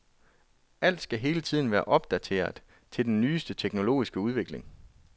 Alt skal hele tiden være opdateret til den nyeste teknologiske udvikling.